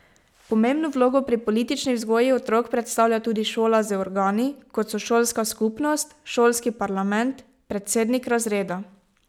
Pomembno vlogo pri politični vzgoji otrok predstavlja tudi šola z organi, kot so šolska skupnost, šolski parlament, predsednik razreda...